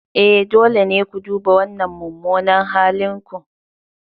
E, dole ne ku duba wannan mummunan halin ku.